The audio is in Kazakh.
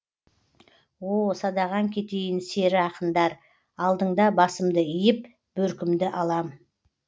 о садағаң кетейін сері ақындар алдыңда басымды иіп бөркімді алам